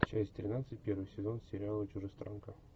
часть тринадцать первый сезон сериала чужестранка